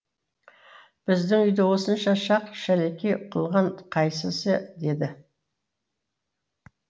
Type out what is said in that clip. біздің үйді осынша шақ шәлекей қылған қайсысы деді